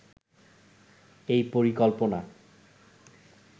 এই পরিকল্পনা